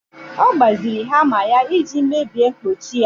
Ọ gbaziri hama ya iji mebie mkpọchi ya